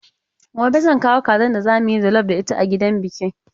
Gobe zan kawo kazan da za mu yi jallaf da ita a gidan biki.